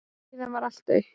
Síðan varð allt autt.